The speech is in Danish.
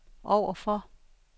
overfor